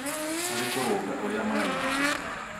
harĩ kũrũnga ũrĩa maraigua